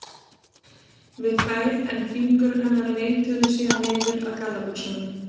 við þær en fingur hennar leituðu síðan niður að gallabuxunum.